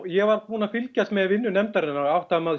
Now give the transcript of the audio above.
ég var búinn að fylgjast með vinnu nefndarinnar og áttaði